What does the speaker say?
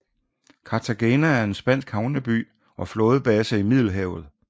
Cartagena er en spansk havneby og flådebase i Middelhavet